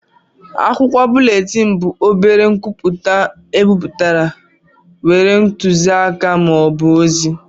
Akwụkwọ búlétin bụ obere nkwupụta ebipụtara nwere ntuziaka ma ọ bụ ozi